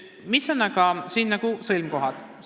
Mis on siin aga sõlmkohad?